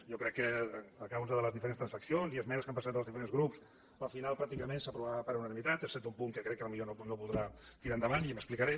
jo crec que a causa de les diferents transaccions i esmenes que han presentat els diferents grups al final pràcticament s’aprovarà per unanimitat excepte un punt que crec que potser no podrà tirar endavant i m’explicaré